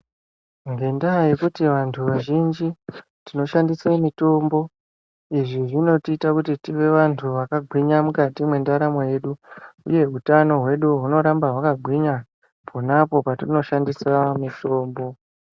Ngendaa yekuti vantu vazhinji tinoishandise. Izvi zvinotiita kuti tive vantu vakagwinya mukati mwendaramo yedu uye utano hwedu hunoramba hwakagwinya ponapo patinoshandisa mitombo.